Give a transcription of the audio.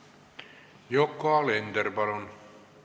Yoko Alender, palun!